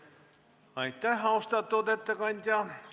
Aitäh, austatud ettekandja!